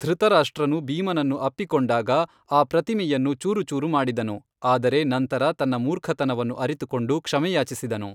ಧೃತರಾಷ್ಟ್ರನು ಭೀಮನನ್ನು ಅಪ್ಪಿಕೊಂಡಾಗ, ಆ ಪ್ರತಿಮೆಯನ್ನು ಚೂರುಚೂರು ಮಾಡಿದನು, ಆದರೆ ನಂತರ ತನ್ನ ಮೂರ್ಖತನವನ್ನು ಅರಿತುಕೊಂಡು ಕ್ಷಮೆಯಾಚಿಸಿದನು.